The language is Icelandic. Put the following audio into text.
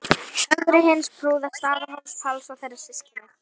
Ögri hins prúða, Staðarhóls-Páls og þeirra systkina.